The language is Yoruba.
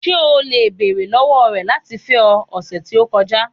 Ṣe o le beere lọwọ rẹ lati fẹ ọ, ọsẹ ti o kọja?